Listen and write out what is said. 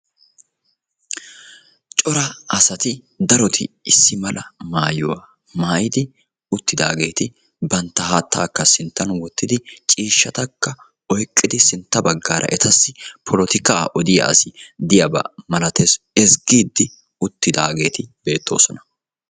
Cora asati daroti issimala maayuwa maayyidi uttidaageti bantta haattaakka sinttan wottidi ciishshatakka oyiqqidi sintta baggaara etasi polotikaa odiya asi diyaba milatees ; ezggiiddi uttidaageti beettoosona.